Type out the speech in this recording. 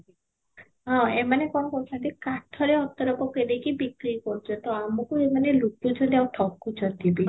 ହଁ, ଏମାନେ କଣ କରୁଛନ୍ତି କାଠରେ ଅତର ପକେଇ ଦେଇକି ବିକ୍ରି କରୁଛନ୍ତି ତ ଆମକୁ ଏମାନେ ଲୁଚଉଛନ୍ତି ଆଉ ଠକୁଛନ୍ତି ବି